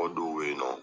Mɔgɔ dɔw be yen nɔ